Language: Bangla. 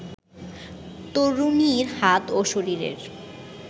তরুণীর হাত ও শরীরের